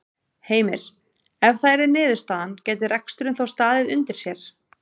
Heimir: Ef það yrði niðurstaðan gæti reksturinn þá staðið undir sér?